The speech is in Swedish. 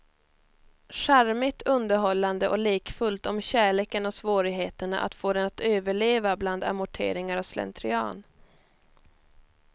Charmigt, underhållande och lekfullt om kärleken och svårigheterna att få den att överleva bland amorteringar och slentrian.